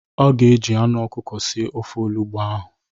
Ọ ga-eji anụ ọkụkọ sie ofe olugbo ahụ.